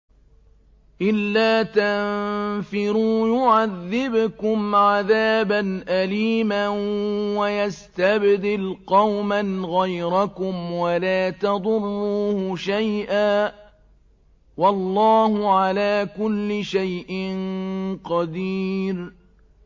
إِلَّا تَنفِرُوا يُعَذِّبْكُمْ عَذَابًا أَلِيمًا وَيَسْتَبْدِلْ قَوْمًا غَيْرَكُمْ وَلَا تَضُرُّوهُ شَيْئًا ۗ وَاللَّهُ عَلَىٰ كُلِّ شَيْءٍ قَدِيرٌ